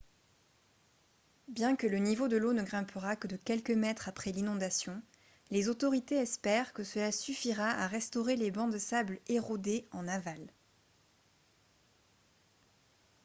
bien que le niveau de l'eau ne grimpera que de quelques mètres après l'inondation les autorités espèrent que cela suffira à restaurer les bancs de sable érodés en aval